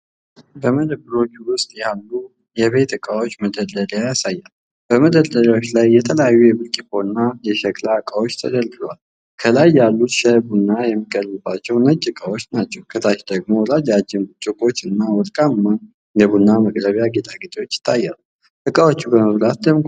በመደብሮች ውስጥ ያሉ የቤት ዕቃዎች መደርደሪያ ያሳያል። በመደርደሪያዎቹ ላይ የተለያዩ የብርጭቆና የሸክላ ዕቃዎች ተደርድረዋል። ከላይ ያሉት ሻይና ቡና የሚቀርብባቸው ነጭ ዕቃዎች ናቸው። ከታች ደግሞ ረጃጅም ብርጭቆዎች እና ወርቃማ የቡና መቅረቢያ ጌጣጌጦች ይታያሉ። ዕቃዎቹ በመብራት ደምቀዋል።